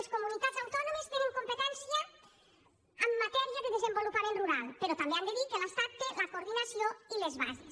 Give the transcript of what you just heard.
les comunitats autònomes tenen competència en matèria de desenvolupament rural però també han de dir que l’estat en té la coordinació i les bases